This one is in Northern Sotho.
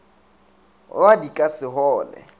rwa di ka se hole